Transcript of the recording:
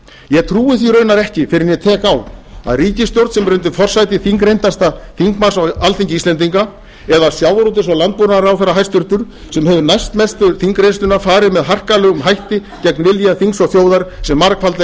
ég trúi því raunar ekki fyrr en ég tek á að ríkisstjórn sem er undir forsæti þingreyndasta þingmanns á alþingi íslendinga eða hæstvirtum sjávarútvegs og landbúnaðarráðherra sem hefur næstmestu þingreynsluna fari með harkalegum hætti gegn vilja þings og þjóðar sem margfaldlega hefur